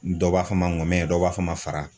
Dɔw b'a fɔ ma ŋɔmɛn dɔw b'a fɔ ma fara.